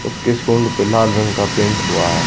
उसके सूंड पे लाल रंग का पेंट हुआ है।